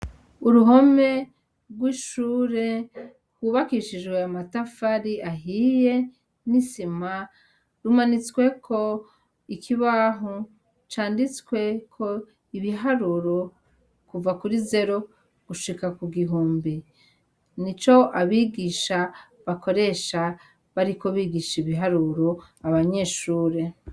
Uruhome rw'ishure rwubakishijwe amatafari ahiye n'isima rumanitsweko ikibaho canditsweko ibiharuro kuva kuri zero gushika ku gihumbi. Nico abigisha bakoresha bariko bigisha ibiharuro abanyeshure.